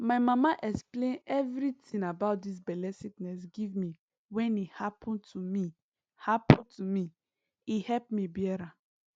my mama explain everitin about dis belle sickness give me when e happen to me happen to me e help me bear am